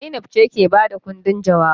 Zainab ce ke ba da ƙundin jawabai.